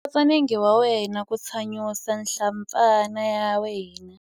Khotsa nenge wa wena ku tsanyusa nhlampfana ya wena.